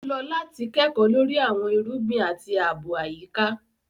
O lọ lati ṣe kẹko lori awọn irugbin ati aabo ayika